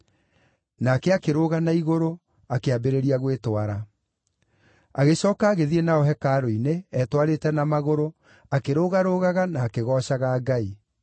Nake akĩrũga na igũrũ, akĩambĩrĩria gwĩtwara. Agĩcooka agĩthiĩ nao hekarũ-inĩ, etwarĩte na magũrũ, akĩrũgarũgaga na akĩgoocaga Ngai.